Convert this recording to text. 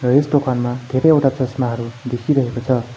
यस दोकानमा धेरैवटा चस्माहरू देखिरहेको छ।